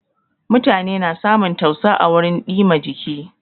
Mutane na samun tausa à wurin dìma jiki.